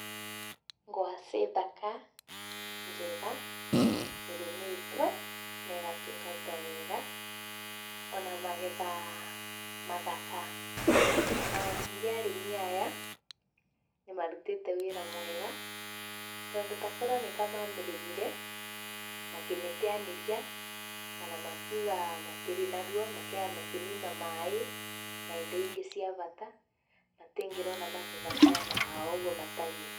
Ngwacĩ thaka njega, ĩrĩmĩtwe na ĩgatungatwo wega. ona magetha mathaka. Ona ningĩ arĩmi aya, nĩmarutĩte wĩra mwega, tondũ takorwo nĩ kamamĩrĩmire, makĩmĩteanĩria kana makiuga matirĩ naruo, makĩmĩima maĩ na indo ingĩ cia bata, matingĩrona magetha maya mao ũguo matarie.